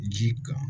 Ji kan